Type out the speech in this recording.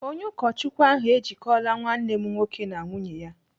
Onye ụkọchukwu ahụ ejikọla nwanne m nwoke na nwunye ya.